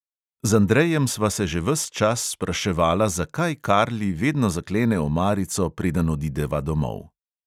Z andrejem sva se že ves čas spraševala, zakaj karli vedno zaklene omarico, preden odideva domov.